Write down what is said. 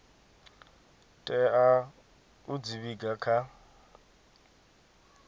tea u dzi vhiga kha